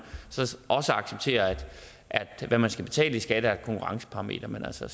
også acceptere at hvad man skal betale i skat er et konkurrenceparameter men altså